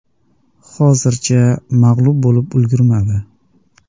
Hozircha mag‘lub bo‘lib ulgurmadi.